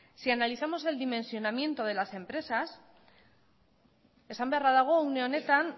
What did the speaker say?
si analizamos el dimensionamiento de las empresas esan beharra dago une honetan